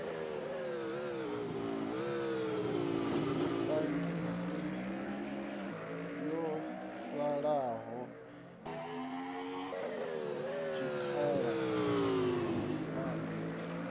zwitangini ho salaho zwikhala dzhenisani